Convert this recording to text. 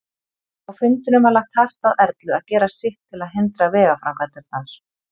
Á fundinum var lagt hart að Erlu að gera sitt til að hindra vegaframkvæmdirnar.